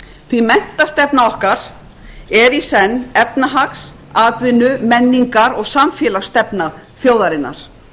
því menntastefna okkar er í senn efnahags atvinnu menningar og samfélagsstefna þjóðarinnar